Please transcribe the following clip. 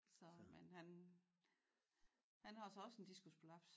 Så men han han har så også en diskusprolaps